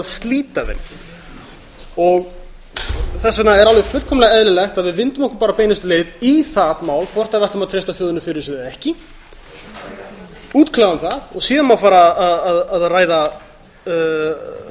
slíta þeim þess vegna er alveg fullkomlega eðlilegt að við vindum okkur bara beinustu leið í það mál hvort við ætlum að treysta þjóðinni fyrir þessu eða ekki útkljáum það og síðan má fara að